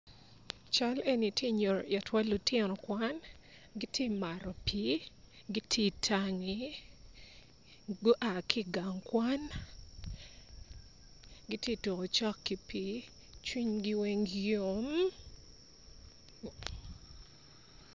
Cal eni ti nyuto itwa lutino kwan giti mato pii giti itangi gua ki igang kwan giti tuko cok ki pii cwinygi weng yom